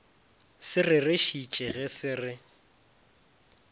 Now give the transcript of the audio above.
se rerešitše ge se re